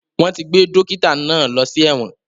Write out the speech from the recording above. Wọ́n ti gbé dókítà náà lọ sí ẹ̀wọ̀n